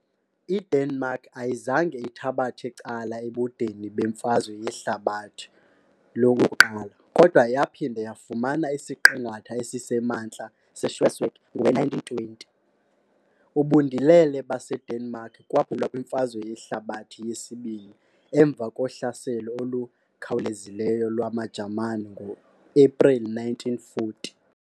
IDenmark ayizange ithabathe cala ebudeni beMfazwe Yehlabathi I kodwa yaphinda yafumana isiqingatha esisemantla seSchleswig ngowe-1920. Ubundilele baseDenmark kwaphulwa kwiMfazwe Yehlabathi II emva kohlaselo olukhawulezileyo lwamaJamani ngoAprili 1940.